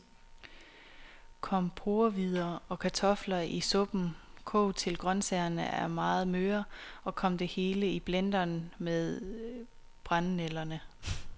Kom porrehvider og kartofler i suppen, kog til grøntsagerne er meget møre, og kom det hele i blenderen med brændenælderne.